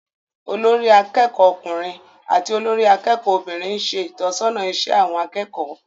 Olórí akẹ́kọ̀ọ́ ọkùnrin àti olórí akẹ́kọ̀ọ́ obìnrin ń ṣe ìtọ́sọ́nà iṣẹ́ àwọn akẹ́kọ̀ọ́